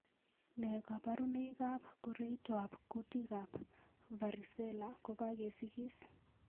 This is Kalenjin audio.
Nee kabarunoikab koroitoab kutikab Varicella ko kagesikis?